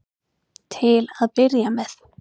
Til að byrja með.